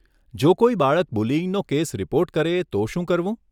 જો કોઈ બાળક બુલીઇંગનો કેસ રિપોર્ટ કરે તો શું કરવું?